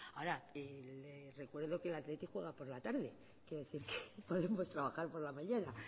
ahora le recuerdo que el athletic juega por la tarde quiero decir que podemos trabajar por la mañana